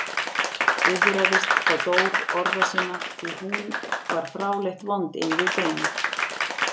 Iðraðist þá Dór orða sinna, því hún var fráleitt vond inn við beinið.